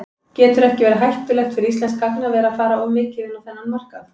Getur ekki verið hættulegt fyrir íslenskt gagnaver að fara of mikið inn á þennan markað?